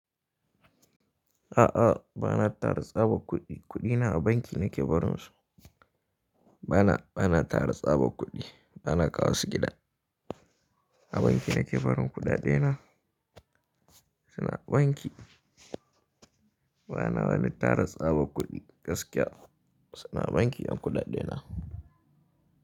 A'a, ba na tara tsaba kuɗi. Kuɗi na a banki na ke barin su. Ba na, ba na tara tsaba kuɗi. Ba na kawo su gida. A banki na ke barin kuɗaɗe na. Su na banki. Ba na wani tara tsaba kuɗi gaskiya. Su na banki yan kuɗaɗe na.